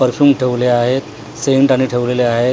Perfume ठेवले आहेत scent आणि ठेवलेले आहेत.